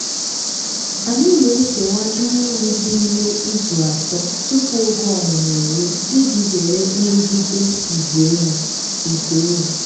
anyị na-ekewa nne ewu dị ime izu atọ tupu oge ọmụmụ erue iji zere nrụgide igwe ewu. igwe ewu.